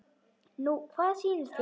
Nú hvað sýnist þér.